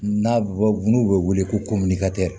N'a bɛ bɔ n'u bɛ wele ko